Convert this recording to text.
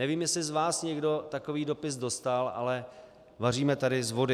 Nevím, jestli z vás někdo takový dopis dostal, ale vaříme tady z vody.